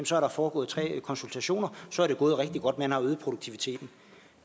så er der foregået tre konsultationer og så er det gået rigtig godt for man har øget produktiviteten